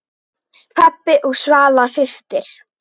Pabbi og Svala systir.